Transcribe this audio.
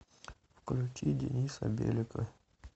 включи дениса белика